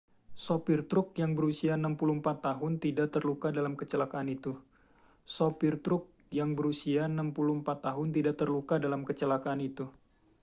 sopir truk yang berusia 64 tahun tidak terluka dalam kecelakaan itu